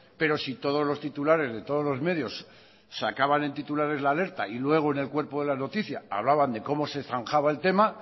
pero si todos los titulares de todos los medios sacaban en titulares la alerta y luego en el cuerpo de la noticia hablaban de cómo se zanjaba el tema